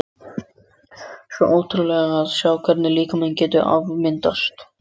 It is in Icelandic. Svo ótrúlegt að sjá hvernig líkaminn getur afmyndast.